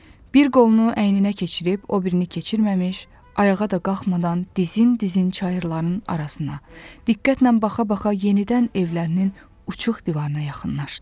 Bir qolunu əyninə keçirib o birini keçirməmiş, ayağa da qalxmadan dizin-dizin çayırların arasına, diqqətlə baxa-baxa yenidən evlərinin uçuq divarına yaxınlaşdı.